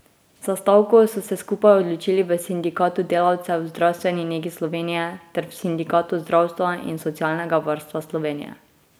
Za stavko so se skupaj odločili v Sindikatu delavcev v zdravstveni negi Slovenije ter v Sindikatu zdravstva in socialnega varstva Slovenije.